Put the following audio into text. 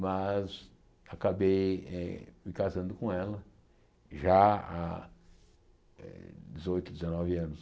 Mas acabei me casando com ela já há eh dezoito, dezenove anos.